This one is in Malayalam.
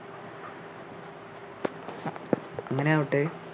അങ്ങനെ ആവട്ടെ